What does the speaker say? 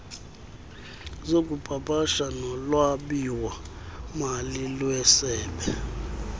zokupapasha nolwabiwomali lwesebe